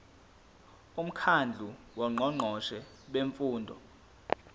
umkhandlu wongqongqoshe bemfundo